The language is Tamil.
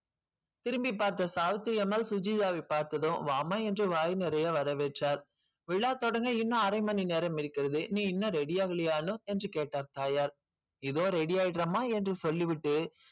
திரும்பி பார்த்த சாவித்திரி அம்மாள் சுஜிதவை பார்த்ததும் வாம என்று வாய் நிறைய வரவேற்றாள் விழா தொடங்க இன்னும் அரைமணி நேரம் இருக்கிறது நீ இன்னும் ready ஆவலையானு என்று கேட்டாள் தாயார் இதோ ready ஆயிறமா என்று சொல்லிவிட்டு